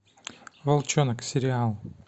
волчонок сериал